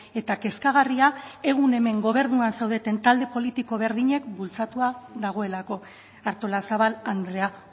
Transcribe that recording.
eta kezkagarria egun hemen gobernuan zaudeten talde politiko berdinek bultzatua dagoelako artolazabal andrea